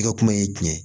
I ka kuma ye jumɛn ye